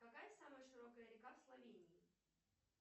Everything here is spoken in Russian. какая самая широкая река в словении